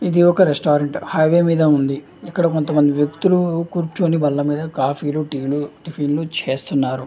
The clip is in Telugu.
ఇది ఒక రెస్టారెంట్ . హైవే మీద ఉంది. ఇక్కడ కొంత మంది వ్యక్తులు కూర్చోని బల్ల మీద కాఫీ టీ టిఫిన్ లు చేస్తున్నారు.